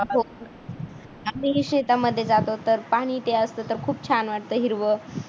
हो. आम्ही शेतामध्ये जातो तर जातो तर पाणीही ते असतं तर खूप छान वाटतं हिरव.